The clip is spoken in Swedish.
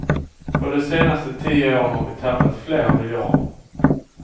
På de senaste tio åren har vi tappat flera miljarder.